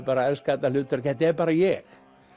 bara elska þetta hutverk þetta er bara ég